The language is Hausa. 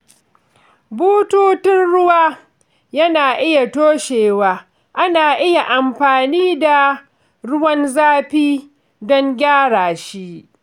Bututun ruwa yana iya toshewa, ana iya amfani da ruwan zafi don gyara shi.